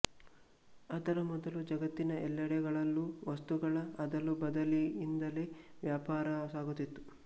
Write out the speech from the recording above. ಅದರ ಮೊದಲು ಜಗತ್ತಿನ ಎಲ್ಲೆಡೆಗಳಲ್ಲೂ ವಸ್ತುಗಳ ಅದಲುಬದಲಿಯಿಂದಲೇ ವ್ಯಾಪಾರ ಸಾಗುತ್ತಿತ್ತು